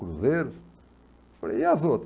cruzeiros? Falei, e as outras?